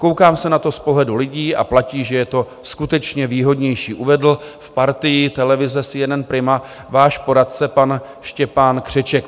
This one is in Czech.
"Koukám se na to z pohledu lidí a platí, že je to skutečně výhodnější," uvedl v partii televize CNN Prima váš poradce pan Štěpán Křeček.